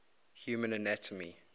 human anatomy